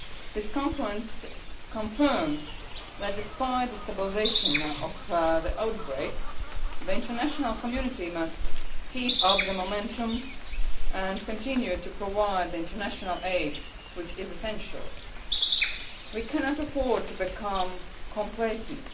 This conference confirms that despite the stabilisation of the outbreak, the international community must keep up the momentum' and continue to provide the international aid, which is essential. We cannot afford to become complacent.